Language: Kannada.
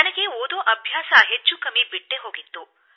ನನಗೆ ಓದುವ ಅಭ್ಯಾಸ ಬಹುತೇಕ ಬಿಟ್ಟೇ ಹೋಗಿತ್ತು